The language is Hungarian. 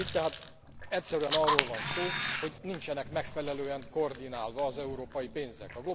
Itt tehát egyszerűen arról van szó, hogy nincsenek megfelelően koordinálva az európai pénzek.